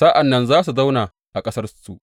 Sa’an nan za su zauna a ƙasarsu.